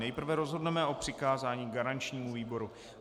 Nejprve rozhodneme o přikázání garančnímu výboru.